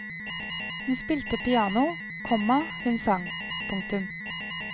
Hun spilte piano, komma hun sang. punktum